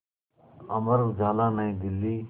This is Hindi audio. अमर उजाला नई दिल्ली